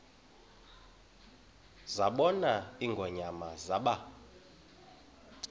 zabona ingonyama zaba